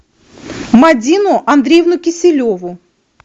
мадину андреевну киселеву